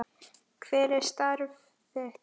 Hver er starf þitt?